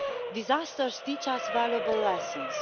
Disasters teach us valuable lessons.